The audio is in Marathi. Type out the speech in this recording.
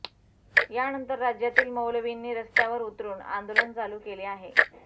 यानंतर राज्यातील मौलवींनी रस्त्यावर उतरून आंदोलन चालू केले आहे